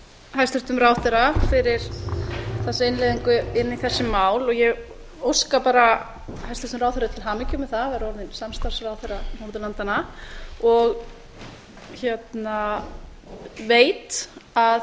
hæstvirtum ráðherra fyrir þessa innleiðingu inn í þessi mál og ég óska bara hæstvirtum ráðherra til hamingju með það að vera orðinn samstarfsráðherra norðurlandanna og veit að